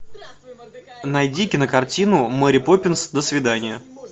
найди кинокартину мэри поппинс до свидания